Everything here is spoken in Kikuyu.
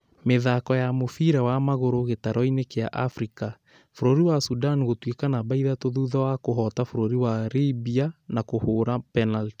Mĩthako ya Mũbira wa magũrũ gĩtaro-inĩ kĩa Afrika: bũrũri wa Sudan gũtuĩka namba ithatũ thutha wa kũhota bũrũri wa Libya na kũhũra penalti